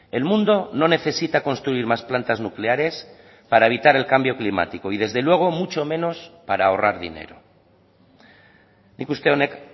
el mundo no necesita construir más plantas nucleares para evitar el cambio climático y desde luego mucho menos para ahorrar dinero nik uste honek